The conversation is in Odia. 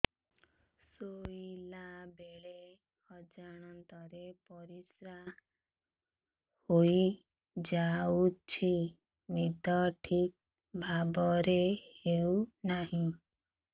ଶୋଇଲା ବେଳେ ଅଜାଣତରେ ପରିସ୍ରା ହୋଇଯାଉଛି ନିଦ ଠିକ ଭାବରେ ହେଉ ନାହିଁ